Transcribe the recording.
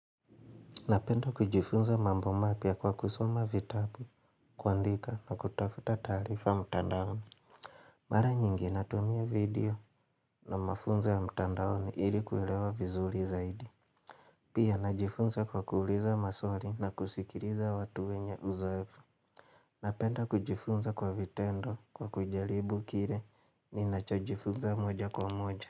Napenda kujifunza mambo mapya kwa kusoma vitabu, kuandika na kutafuta taarifa mtandaoni. Mara nyingi natumia video na mafunzo mtandaoni ilikuwelewa vizuri zaidi. Pia najifunza kwa kuuliza maswari na kusikiliza watu wenye uzoefu. Napenda kujifunza kwa vitendo kwa kujalibu kire ni nacho jifunza moja kwa moja.